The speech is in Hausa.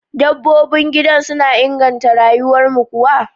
Dabbobin gida suna inganta rayuwarmu kuwa?